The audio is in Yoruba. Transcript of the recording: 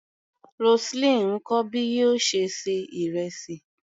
Roseline ń kọ́ bí yóò ṣe ṣe ìrẹsì.